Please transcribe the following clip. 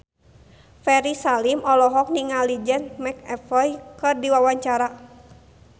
Ferry Salim olohok ningali James McAvoy keur diwawancara